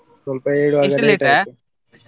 ಸ್ವಲ್ಪ ಏಳುವಾಗ ?